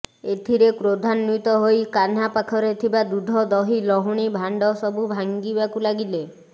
ଏଥିରେ କ୍ରୋଧାନ୍ୱିତ ହୋଇ କାହ୍ନା ପାଖରେ ଥିବା ଦୁଧ ଦହି ଲହୁଣୀ ଭାଣ୍ଡ ସବୁ ଭାଙ୍ଗିବାକୁ ଲାଗିଲେ